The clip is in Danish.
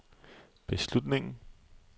beslutningen